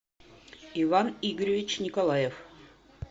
иван игоревич николаев